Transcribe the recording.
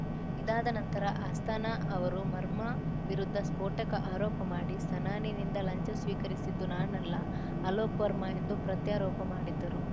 ಇದಾದ ನಂತರ ಅಸ್ಥಾನಾ ಅವರು ವರ್ಮಾ ವಿರುದ್ಧ ಸ್ಫೋಟಕ ಆರೋಪ ಮಾಡಿ ಸನಾನಿಂದ ಲಂಚ ಸ್ವೀಕರಿಸಿದ್ದು ನಾನಲ್ಲ ಅಲೋಕ್‌ ವರ್ಮಾ ಎಂದು ಪ್ರತ್ಯಾರೋಪ ಮಾಡಿದ್ದರು